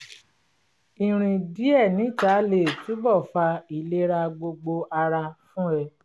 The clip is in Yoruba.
ìrìn díẹ̀ níta lè túnbọ̀ fa ìlera gbogbo ara fún ẹ